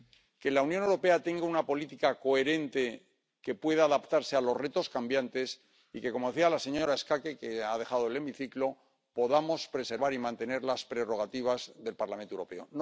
que la Unión Europea tenga una política coherente que pueda adaptarse a los retos cambiantes y que, como decía la señora Schaake —que ha dejado el hemiciclo—, podamos preservar y mantener las prerrogativas del Parlamento Europeo.